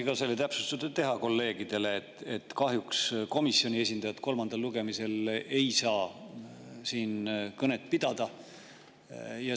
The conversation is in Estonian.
Jaa, ma tahtsingi teha kolleegidele täpsustuse, et kahjuks komisjoni esindajad kolmandal lugemisel ei saa siin kõnet pidada.